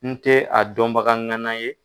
N tɛ a dɔnbagaŋana ye.